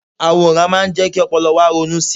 àwòrán má ń jé kí ọpọlọ wa ronú sí